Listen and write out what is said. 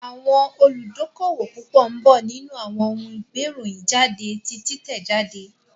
Àwọn olùdókówò púpọ̀ ń bọ̀ nínú àwọn ohun gbé ìròyìn jáde ti títẹ̀ jáde